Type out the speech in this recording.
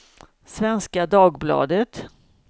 Svenska Dagbladet